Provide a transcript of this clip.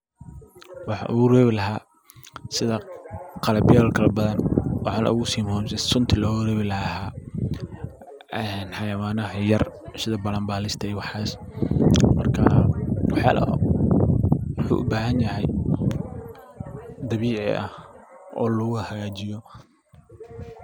Waxan ogu rebi laha sida qalabyal kala badan waxaana ogu si muhiimsan sunta loga rebi laha ee xayawanaha yayar sida balanbalista iyo waxaas marka waxyaala waxuu u bahanyahay dabiici ah oo lagu hagajiyo.